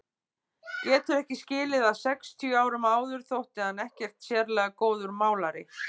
Getur ekki skilið að sextíu árum áður þótti hann ekkert sérlega góður málari.